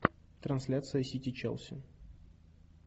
трансляция сити челси